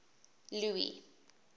louis